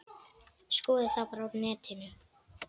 Skoðið það bara á netinu.